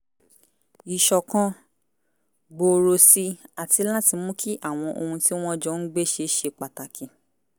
ìṣọ̀kan gbòòrò si àti láti mú kí àwọn ohun tí wọ́n jọ ń gbé ṣe ṣe pàtàkì